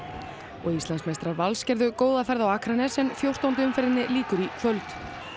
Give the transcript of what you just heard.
og Íslandsmeistarar Vals gerðu góða ferð á Akranes en fjórtándu umferðinni lýkur í kvöld